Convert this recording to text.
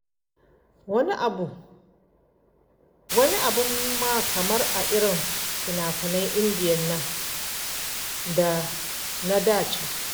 Wani abin ma kamar a irin finafinan indiya nan na da can.